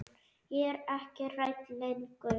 Er ekki hrædd lengur.